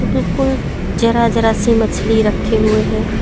बिल्कुल जरा-जरा सी मछली रखें हुए हैं।